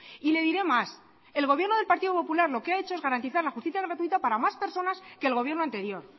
y le diré más el gobierno del partido popular lo que ha hecho es garantizar la justicia gratuita para más personas que el gobierno anterior